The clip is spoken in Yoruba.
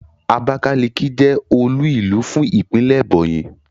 Abákáliki jẹ́ olú-ìlú fún ìpínlè Ẹ̀bọ̀nyì.